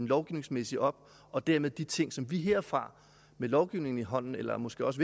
lovgivningsmæssige op og dermed de ting som vi herfra med lovgivningen i hånden eller måske også